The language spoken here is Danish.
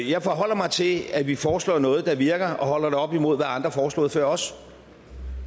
jeg forholder mig til at vi foreslår noget der virker og holder det op imod hvad andre har foreslået før os